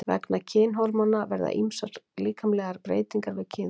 Vegna kynhormóna verða ýmsar líkamlegar breytingar við kynþroska.